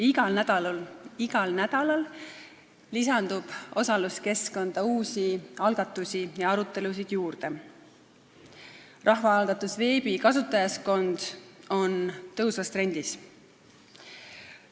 Igal nädalal lisandub osaluskeskkonda uusi algatusi ja arutelusid, rahvaalgatusveebi kasutajaskond on tõusvas trendis.